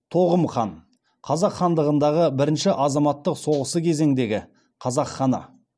тоғым хан қазақ хандығындағы бірінші азаматтық соғысы кезіңдегі қазақ ханы